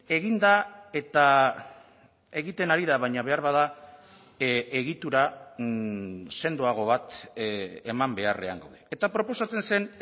egin da eta egiten ari da baina beharbada egitura sendoago bat eman beharrean gaude eta proposatzen zen